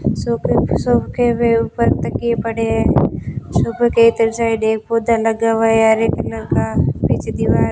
सोफे पे सबके हुए ऊपर तकिए पड़े है हरे कलर का पीछे दीवार --